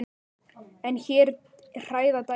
En hér hræða dæmin.